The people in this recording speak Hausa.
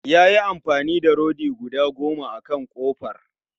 Ya yi amfani da rodi guda goma akan kofar